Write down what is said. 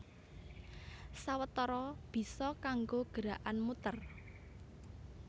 Sawetara bisa kanggo gerakan muter